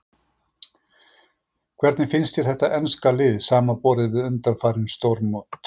Hvernig finnst þér þetta enska lið samanborið við undanfarin stórmót?